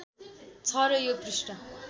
छ र यो पृष्ठ